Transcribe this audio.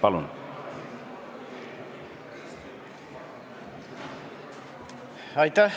Palun!